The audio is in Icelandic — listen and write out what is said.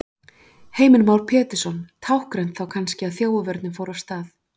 Heimir Már Pétursson: Táknrænt þá kannski að þjófavörnin fór af stað?